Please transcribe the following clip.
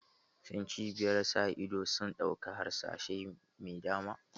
Shin cibiyar ƴan sa ido sun ɗauki harsashai mai dama?